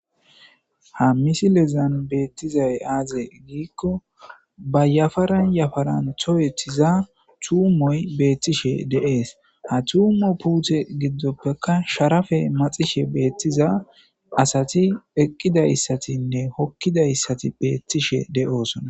Ha misilezan bettizayi aaze giko, ba yafaran yafaran tohetidda tuumoy betishe de'es. Ha tuumo puute giddoppekka sharafe matsishe betiza asati eqqida issatinne hokida issati betishe de'osona.